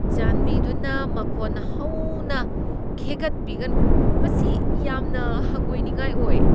ꯆꯥꯟꯕꯤꯗꯨꯅ ꯃꯈꯣꯟ ꯍꯧꯅ ꯈꯦꯒꯠꯄꯤꯒꯅꯨ, ꯃꯁꯤ ꯌꯥꯝꯅ ꯍꯪꯒꯣꯏꯅꯤꯡꯉꯥꯏ ꯑꯣꯏ ꯫